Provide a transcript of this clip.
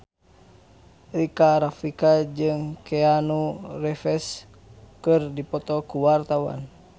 Rika Rafika jeung Keanu Reeves keur dipoto ku wartawan